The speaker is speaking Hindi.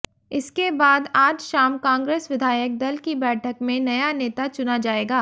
इसके बाद आज शाम कांग्रेस विधायक दल की बैठक में नया नेता चुना जाएगा